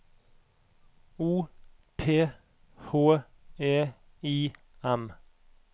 O P H E I M